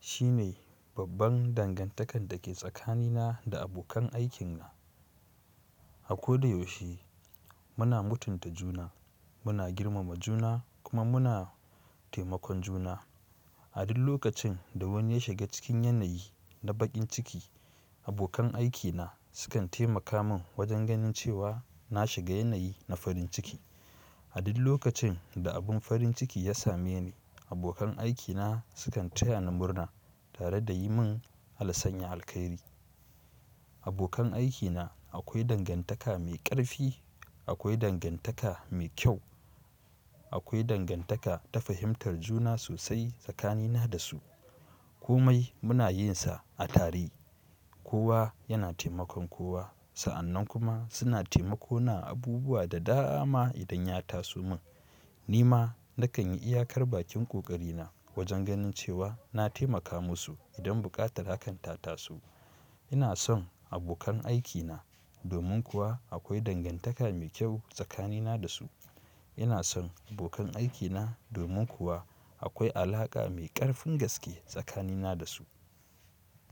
shine babban dangantakar da ke tsakanina da abokan aikina. Ha ko da yaushe muna mutunta juna, muna girmama juna kuma muna taimakon juna. A duk lokacin da wani ya shiga cikin yanayi na baƙin ciki, abokan aikina sukan taimaka min wajen ganin cewa na shiga yanayi na farin ciki. A duk lokacin da abun farin ciki ya same ni, abokan aikina sukan taya ni murna tare da yi min Allah sanya alkairi. Abokan aikina akwai dangantaka mai ƙarfi, akwai dangantaka mai kyau, akwai dangantaka ta fahimtar juna sosai tsakanina da su. Komai muna yin sa a tare, kowa yana taimakon kowa. Sa'annan kuma suna taimako na abubuwa da dama idan ya taso min. Ni ma na kan yi iyakar bakin ƙoƙari na wajen ganin cewa na taimaka musu idan buƙatar hakan ta tasu. Ina son abokan aikina domin kuwa akwai dangantaka mai kyau tsakanina da su. Ina son abokan aikina domin kuwa akwai alaƙa mai ƙarfin gaske tsakanina da su.